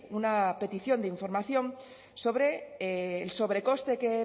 una petición de información sobre el sobrecoste que